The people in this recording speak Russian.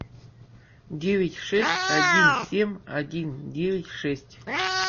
девять шесть один семь один девять шесть